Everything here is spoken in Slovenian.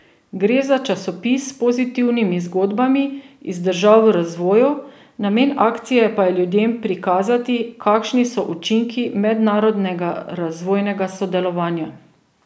Gre za časopis s pozitivnimi zgodbami iz držav v razvoju, namen akcije pa je ljudem prikazati, kakšni so učinki mednarodnega razvojnega sodelovanja.